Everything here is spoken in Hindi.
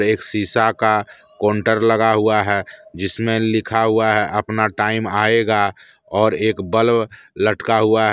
एक शीशा का काउंटर लगा हुआ है जिसमें लिखा हुआ है अपना टाइम आएगा और एक बल्ब लटका हुआ--